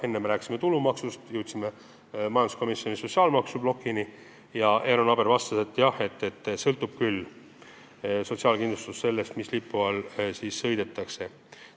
Eero Naaber vastas, et jah, sotsiaalkindlustus sõltub küll sellest, mis lipu all sõidetakse.